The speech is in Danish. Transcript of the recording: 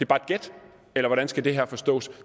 bare et gæt eller hvordan skal det her forstås